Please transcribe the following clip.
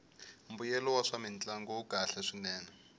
mbuyelo wa swamintlangu wu kahle swinene